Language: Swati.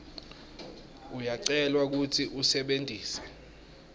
uyacelwa kutsi usebentise